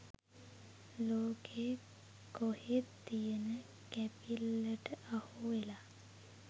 ලෝකේ කොහෙත් තියෙන කැපිල්ලට අහුවෙලා